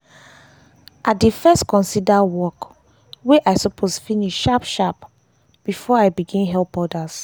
i dey dey first consider work wey i suppose finish sharp sharp before i begin help others.